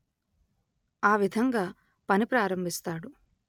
ఆ విధంగా పని ప్రారంభిస్తాడు